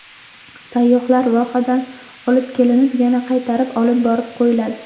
Sayyohlar vohadan olib kelinib, yana qaytarib olib borib qo‘yiladi.